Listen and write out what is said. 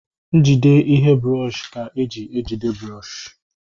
Njide ihe brọọshi ka e ji ejide brọọshi